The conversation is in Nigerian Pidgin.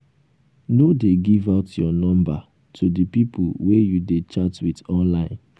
no dey give out your number to the people wey you dey chat with online